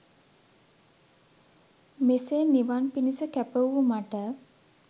මෙසේ නිවන් පිණිස කැප වූ මට